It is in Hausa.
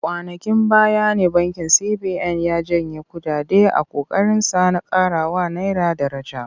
Kwanankin baya ne bankin CBN ya janye kuɗaɗe a ƙoƙarinsa na ƙarawa naira daraja.